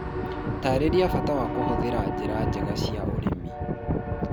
Taarĩria bata wa kũhũthĩra njĩra njega cia ũrĩmi.